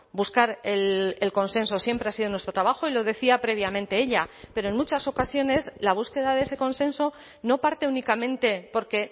buscar el consenso siempre ha sido nuestro trabajo y lo decía previamente ella pero en muchas ocasiones la búsqueda de ese consenso no parte únicamente porque